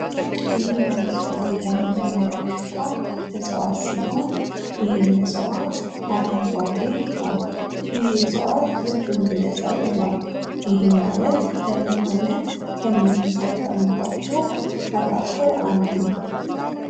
ይህ በምስሉ ላይ የምንመለከተው እጽዋት ሲሆን ይህም እጽዋት አረንጓዴ ነው። ይህ እጽዋት ልክ እንደሰብልም ነው። ይህም ማለት እንደምግብነት ከምንጠቀምባቸው አንዱ ነው።